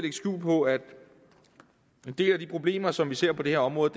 skjul på at en del af de problemer som vi ser på det her område